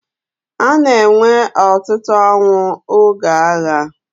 A na-enwe ọtụtụ ọnwụ oge agha.